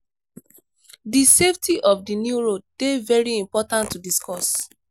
di safety of di new road de very important to discuss